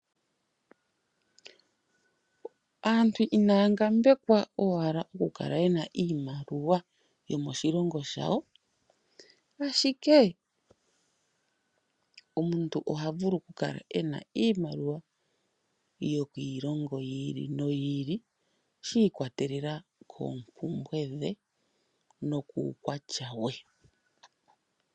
Aantu inaya ngambekwa owala okukala yena iimaluwa yomoshilongo shawo ashike omuntu oha vulu okukala ena iimaliwa yoki ilongo yiili noyi ili shi ikwatelela koompumbwe dhe nokuukwatya we.